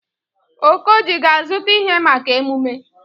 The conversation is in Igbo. Okoji ga-azụta ihe maka emume?